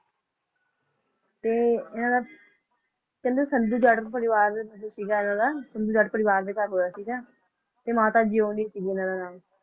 ਤੇ ਇਹਨਾਂ ਦਾ ਕਹਿੰਦੇ ਸੰਧੂ ਜੱਟ ਪਰਿਵਾਰ ਸੀਗਾ ਇਹਨਾਂ ਦਾ ਸੰਧੂ ਜੱਟ ਪਰਿਵਾਰ ਦੇ ਘਰ ਹੋਇਆ ਸੀਗਾ ਤੇ ਮਾਤਾ ਜਿਓਣੀ ਸੀ ਉਹਨਾਂ ਦਾ ਨਾਮ